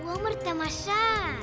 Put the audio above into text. өмір тамаша